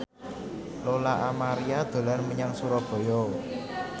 Lola Amaria dolan menyang Surabaya